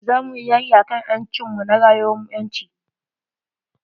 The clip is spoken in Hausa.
Za muyi yaki akan ƴancin mu na rayuwan ƴanci.